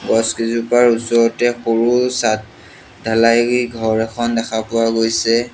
গছ কেইজোপাৰ ওচৰতে সৰু চাত ধালাই ঘৰ এখন দেখা পোৱা গৈছে।